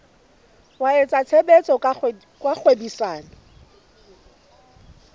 wa etsa tshebetso tsa kgwebisano